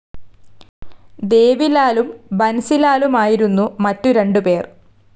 ദേവിലാലും ബൻസിലാലുമായിരുന്നു മറ്റ് രണ്ട് പേർ.